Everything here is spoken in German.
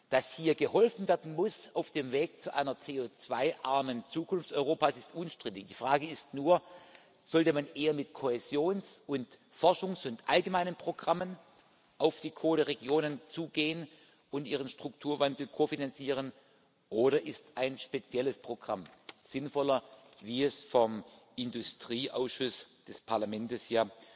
Dass hier geholfen werden muss auf dem Weg zu einer CO2 armen Zukunft Europas, ist unstrittig. Die Frage ist nur Sollte man eher mit Kohäsions Forschungs und allgemeinen Programmen auf die Kohleregionen zugehen und ihren Strukturwandel kofinanzieren, oder ist ein spezielles Programm sinnvoller, wie es vom Industrieausschuss des Parlaments